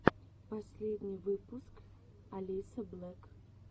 последний выпуск алисаблек